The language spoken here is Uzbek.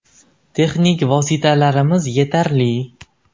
Texnik vositalarimiz yetarli.